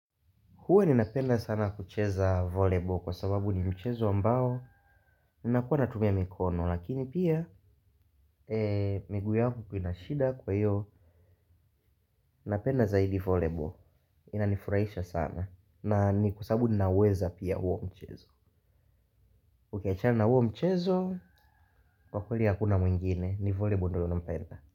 Huwa ninapenda sana kucheza voleball kwa sababu ni mchezo ambao ninakuwa natumia mikono lakini pia miguu yangu ina shida kwa hiyo napenda zaidi volebo. Inanifurahisha sana, na ni kwa sababu ninauweza pia huo mchezo. Tukiachana na huo mchezo, kwa kweli hakuna mwingine ni volebo ndo naunapenda.